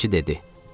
Pinəçi dedi.